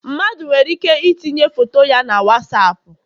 Mmadụ nwere ike itinye foto ya na Wasapu